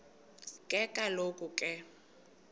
ke kaloku ke